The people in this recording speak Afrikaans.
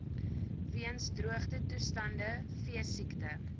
weens droogtetoestande veesiekte